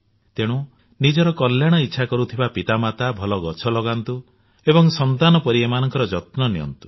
ତେଣୁ ନିଜର କଲ୍ୟାଣ ଇଚ୍ଛା କରୁଥିବା ମାତାପିତା ଭଲ ଗଛ ଲଗାନ୍ତୁ ଏବଂ ସନ୍ତାନ ପରି ଏମାନଙ୍କର ଯତ୍ନ ନିଅନ୍ତୁ